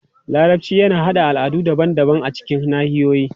Larabci yana haɗa al'adu daban-daban a cikin nahiyoyi.